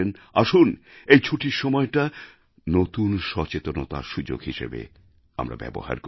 আসুন এই ছুটির সময়টা নতুন সচেতনতার সুযোগ হিসেবে ব্যবহার করি